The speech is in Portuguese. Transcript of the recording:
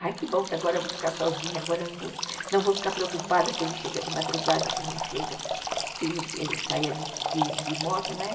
Ai, que bom que agora eu vou ficar sozinha, agora eu não vou ficar preocupada se ele chega de madrugada, se não chega, se se se saia de moto, né?